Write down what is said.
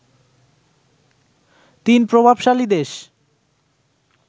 তিন প্রভাবশালী দেশ